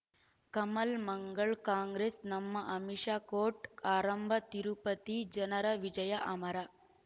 ಕಮಲ್ ಮಂಗಳ್ ಕಾಂಗ್ರೆಸ್ ನಮಃ ಅಮಿಷ್ ಕೋರ್ಟ್ ಆರಂಭ ತಿರುಪತಿ ಜನರ ವಿಜಯ ಅಮರ